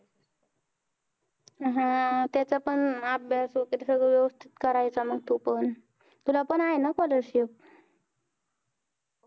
हा तेच पण अभ्यास वैगेरे सगळं वेवस्तीत करायचं मग तू पण तुला पण आहे ना scholarship